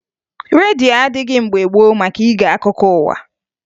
Redio adịghị mgbe gboo maka ige akụkọ ụwa